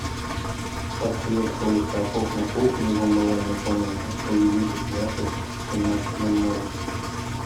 подсветка у шкафов на кухне в умывальной комнате увеличить яркость в семнадцать ноль ноль